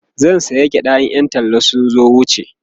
zan saya gyaɗa in Yan talla sun wuce